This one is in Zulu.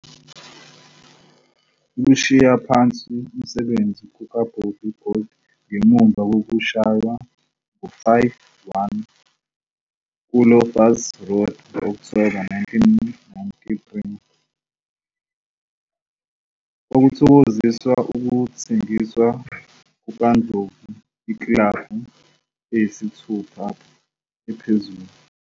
Ukushiya phansi umsebenzi kukaBobby Gould, ngemuva kokushaywa ngo-5-1 kuLoftus Road ngo-Okthoba 1993, kwakuthokoziswa wukuthengiswa kukaNdlovu ikilabhu eyisithupha ephezulu.